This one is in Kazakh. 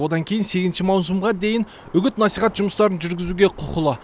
одан кейін сегізінші маусымға дейін үгіт насихат жұмыстарын жүргізуге құқылы